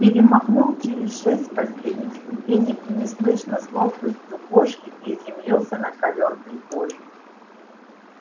перемахнул через шесть последних ступенек и неслышно с ловкостью кошки приземлился на ковёр прихожей